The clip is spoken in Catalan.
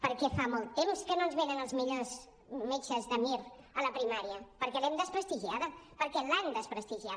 perquè fa molt temps que no ens venen els millors metges de mir a la primària perquè l’hem desprestigiada perquè l’han desprestigiada